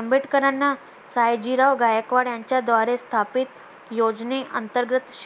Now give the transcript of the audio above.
आंबेडकरांना सयाजीराव गायकवाड यांच्या द्वारे स्थापित योजनेअंतर्गत शि